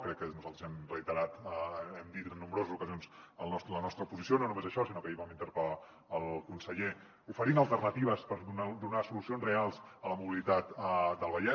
crec que nosaltres hem reiterat hem dit en nombroses ocasions la nostra posició no només això sinó que ahir vam interpel·lar el conseller oferint alternatives per donar solucions reals a la mobilitat del vallès